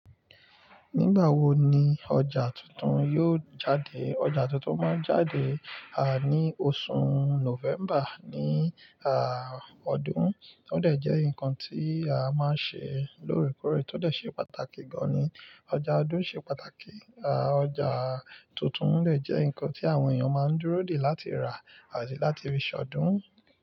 Nígbà wo ni ọjà tuntun yóò jáde? Ọjà tuntun máa jáde, à, ní oṣù Nọ́vẹ́mbà ní, à, ọdún. Ó dẹ̀ jẹ́ ǹkan tí a máa ń ṣe lóòrèkóòrè, tó dẹ̀ ṣe pàtàkì gan-an ni. Ọjà ọdún ṣe pàtàkì. À, ọjà tuntun lè jẹ́ ǹkan tí àwọn èèyàn máa ń dúró de láti rà àti láti rí ṣọdún.